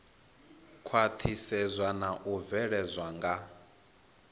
khwaṱhisedzwa na u bveledzwa nga